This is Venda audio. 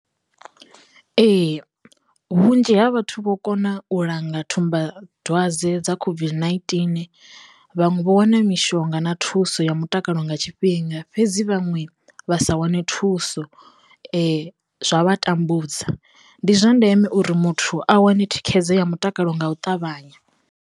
Ee vhunzhi ha vhathu vho kona u langa thumba dzwadze dza COVID-19, vhanwe vho wana mishonga na thuso ya mutakalo nga tshifhinga, fhedzi vhaṅwe vha sa wane thuso zwa vha tambudza ndi zwa ndeme uri muthu a wane thikhedzo ya mutakalo nga u ṱavhanya.